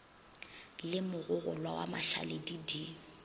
le mogogolwa wa mašaledi di